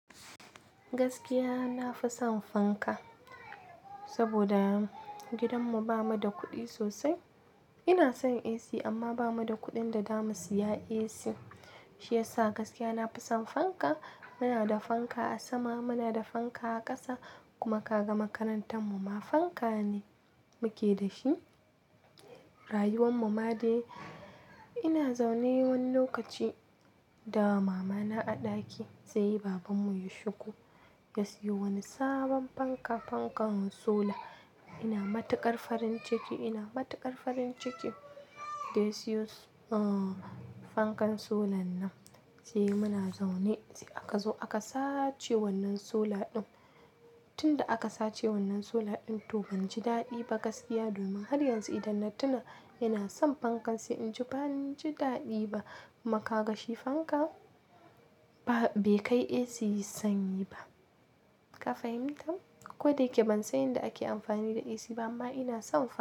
Gaskiya nafi son fanka, saboda gidanmu bamu da kuɗi sosai. Ina son AC amma bamu da kuɗin da zamu siya AC. Shi yasa gaskiya nafi son fanka. Muna da fanka a sama, muna da fanka a ƙasa kuma kaga makarantar mu ma fanka ne muke da shi. Rayuwar mu ma dai. Ina zaune wani lokaci da mama na a ɗaki sai baban mu ya shigo ya siyo wani sabon fanka, fankan sola. Ina matuƙar farin ciki, ina matuƙar farin ciki da siyo, ah fankan solan nan. Sai muna zaune, sai aka zo aka sace wannan sola ɗin. Tunda aka sace wannan sola ɗin tu banji daɗi ba gaskiya domin har yanzu idan dattina yana san fankan sai in ji banji daɗi ba. Kuma ka ga shi fanka ba, bai kai AC sanyi ba. Ka fahimta? Ko da yake ban san yadda ake amfani da AC ba amma ina son fanka.